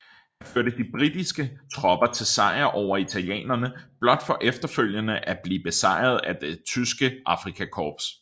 Han førte de britiske tropper til sejr over italienerne blot for efterfølgende at blive besejret at det tyske Afrikakorps